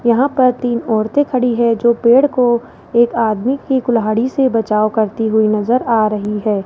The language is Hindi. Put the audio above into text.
यहां पर तीन औरतें खड़ी है जो पेड़ को एक आदमी की कुल्हाड़ी से बचाव करती हुई नजर आ रही है।